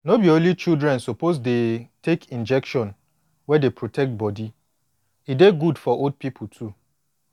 no be only children suppose dey take injection wey dey protect body e dey good for old people too